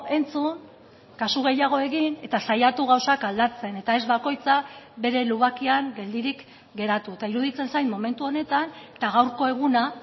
entzun kasu gehiago egin eta saiatu gauzak aldatzen eta ez bakoitza bere lubakian geldirik geratu eta iruditzen zait momentu honetan eta gaurko eguna